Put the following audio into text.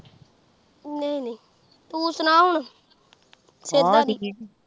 ਨਹੀਂ ਨਹੀਂ ਤੂ ਸੁਣਾ ਹੁਣ